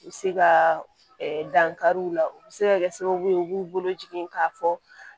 U bɛ se ka dankari u la u bɛ se ka kɛ sababu ye u b'u bolo jigin k'a fɔ